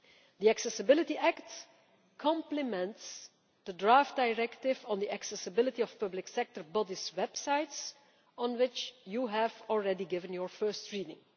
The Accessibility Act complements the draft Directive on the Accessibility of Public Sector Bodies' Websites, on which you have already given your first reading.